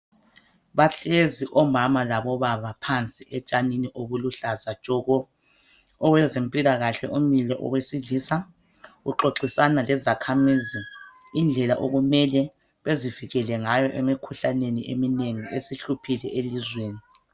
Bahlezi omama labobaba phansi etshanini obuluhlaza tshoko, owezempilakahle umile owesilisa uxoxisana lezakhamizi indlela okumele bezivikele ngayo emikhuhlaneni eminengi esihluphile elizweni.